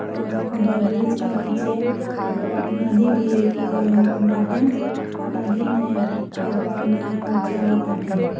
और ओभरब्रिज के नीचे एगो नदी बी ए बाटे। नदी में एगो नाय ओए चलताटे।